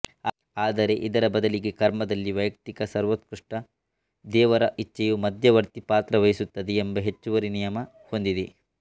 ಆದರೆ ಇದರ ಬದಲಿಗೆ ಕರ್ಮದಲ್ಲಿ ವೈಯಕ್ತಿಕ ಸರ್ವೋತ್ಕೃಷ್ಟ ದೇವರ ಇಚ್ಛೆಯು ಮಧ್ಯವರ್ತಿ ಪಾತ್ರ ವಹಿಸುತ್ತದೆ ಎಂಬ ಹೆಚ್ಚುವರಿ ನಿಯಮ ಹೊಂದಿದೆ